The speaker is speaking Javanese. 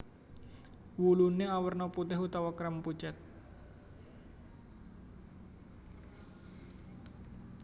Wuluné awerna putih utawa krem pucet